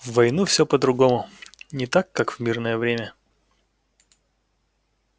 в войну всё по-другому не так как в мирное время